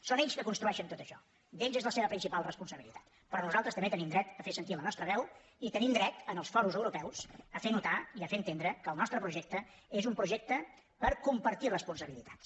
són ells que construeixen tot això d’ells és la seva principal responsabilitat però nosaltres també tenim dret a fer sentir la nostra veu i tenim dret en els fòrums europeus a fer notar i a fer entendre que el nostre projecte és un projecte per compartir responsabilitats